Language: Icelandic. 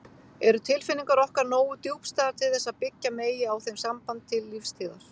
Eru tilfinningar okkar nógu djúpstæðar til þess að byggja megi á þeim samband til lífstíðar?